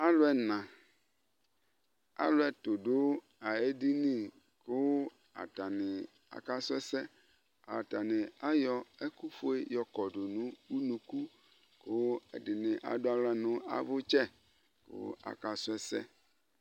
Alu ɛna alu ɛtu du édini ku atani aka su ɛsɛ atani ayɔ ɛku fué yɔkɔdu nu unuku ku ɛdini adu aylă nu avutsɛ ku aƙa su ɛsɛ